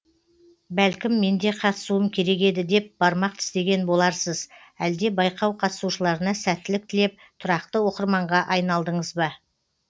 бәлкім менде қатысуым керек еді деп бармақ тістеген боларсыз әлде байқау қатысушыларына сәттілік тілеп тұрақты оқырманға айналдыңыз ба